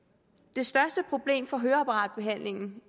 det største problem for høreapparatbehandlingen